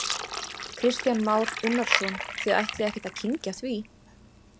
Kristján Már Unnarsson: Þið ætlið ekkert að kyngja því?